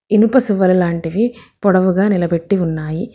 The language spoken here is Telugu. ఇనుప సువర్లాంటివి పొడవుగా నిలబెట్టి ఉన్నాయి.